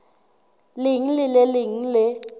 leng le le leng le